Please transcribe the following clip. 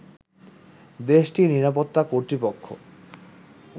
দেশটির নিরাপত্তা কর্তৃপক্ষ